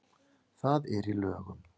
Það er í lögum.